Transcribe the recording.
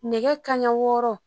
Nɛgɛ kaɲɛ wɔɔrɔ